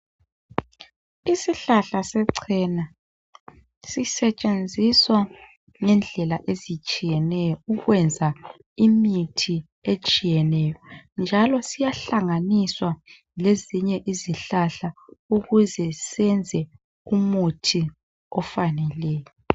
Isihlahla sechena sisetshenziswa ngendlela ezitshiyeneyo ukwenza imithi etshiyeneyo njalo siyahlanganiswa lezinye izihlahla ukuze senze umuthi ofaneleyo